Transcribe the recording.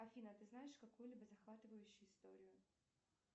афина ты знаешь какую либо захватывающую историю